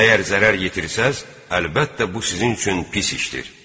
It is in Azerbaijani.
Əgər zərər yetirsəniz, əlbəttə, bu sizin üçün pis işdir.